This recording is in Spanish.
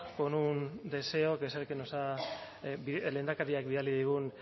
con un deseo que es el que nos ha lehendakariak bidali digun